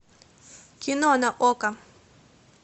кино на окко